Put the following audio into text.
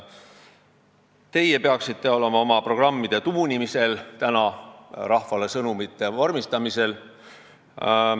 Teie peaksite ju praegu oma programme tuunima, rahvale sõnumeid vormistama.